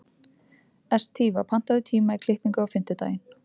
Estiva, pantaðu tíma í klippingu á fimmtudaginn.